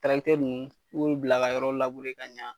Tarakitɛri nunnu i b'olu bila ka yɔrɔ labure ka ɲa